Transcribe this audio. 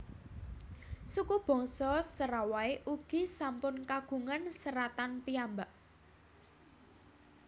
Suku bangsa Serawai ugi sampun kagungan seratan piyambak